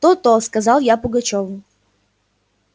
то-то сказал я пугачёву